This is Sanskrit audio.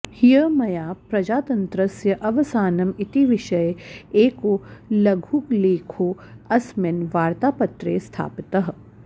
ह्यः मया प्रजातन्त्रस्य अवसानम् इति विषये एको लघुलेखोऽस्मिन् वार्त्तापत्रे स्थापितः